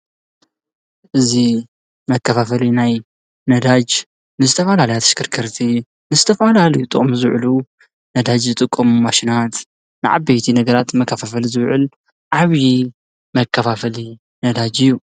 እዚ መከፋፈሊ ናይ ነደጅ ንዝተፈላለያ ኣሽከርከርቲ ንዝተፈላለዩ ንጥቅሚ ዝውዕሉ ነዳጅ ዝጥቀሙ ማሽናት ንዓበይቲ ነገራት መከፋፋሊ ዝውዕል ዓብይ መከፋፈሊ ነዳጅ እዩ፡፡